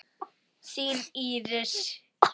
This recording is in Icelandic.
Þín Íris.